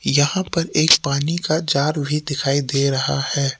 यहां पर एक पानी का जार भी दिखाई दे रहा है।